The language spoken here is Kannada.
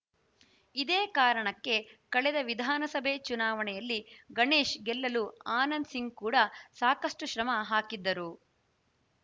ಇದೇ ಕಾರಣಕ್ಕೆ ಕಳೆದ ವಿಧಾನಸಭೆ ಚುನಾವಣೆಯಲ್ಲಿ ಗಣೇಶ್‌ ಗೆಲ್ಲಲು ಆನಂದ್‌ ಸಿಂಗ್‌ ಕೂಡ ಸಾಕಷ್ಟುಶ್ರಮ ಹಾಕಿದ್ದರು